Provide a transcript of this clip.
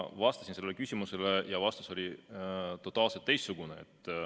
Ma vastasin sellele küsimusele ja vastus oli totaalselt teistsugune.